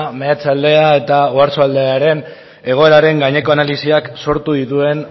meatzaldea eta oarsoaldea ere egoeraren gaineko analisiak sortu dituen